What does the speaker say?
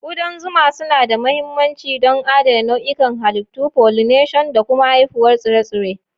Kudan zuma suna da mahimmanci don adana nau'ikan halittu, pollination, da kuma haifuwar tsire-tsire.